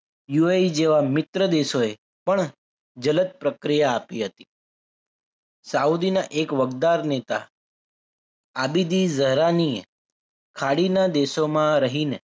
UAE જેવા મિત્ર દેશોએ પણ જલત પ્રક્રિયા આપી હતી સાઉદીના એક વગદાર નેતા આદિની જરાની ખાડીના દેશોમાં રહીને